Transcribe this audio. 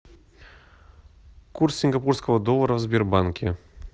курс сингапурского доллара в сбербанке